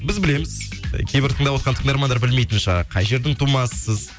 біз білеміз кейбір тыңдавотқан тыңдармандар білмейтін шығар қай жердің тумасысыз